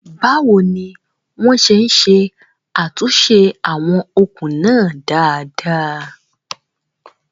Báwo ni wọ́n ṣe ṣe àtúnṣe àwọn okùn náà dáadáa?